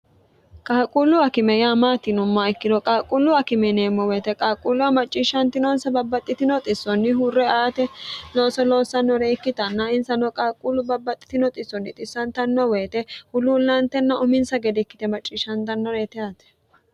qaalqquullu akime yaa maati yinumma ikkiro qaaqquullu akime yineemmo woyite qaalqquullua macciishshantinonsa babbaxxitino xissonni hurre aate looso loossannore ikkitanna insanoo qaalquullu babbaxxitinoxissonni xissantannoo woyite huluullaantenna uminsa gede ikkite macciishshantannore ite aate